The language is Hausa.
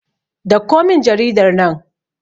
dauko min jaridar nan!